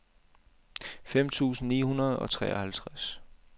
fem tusind ni hundrede og treoghalvtreds